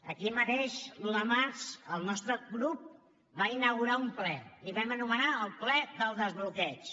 aquí mateix l’un de març el nostre grup va inaugurar un ple el vam anomenar el ple del desbloqueig